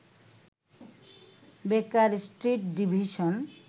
বেকার Street division